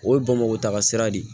O ye bamakɔ taga sira de ye